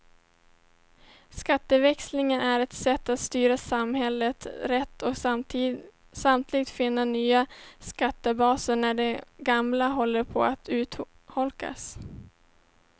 Skatteväxling är ett sätt att styra samhället rätt och samtidigt finna nya skattebaser när de gamla håller på att urholkas.